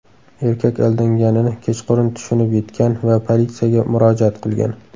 Erkak aldanganini kechqurun tushunib yetgan va politsiyaga murojaat qilgan.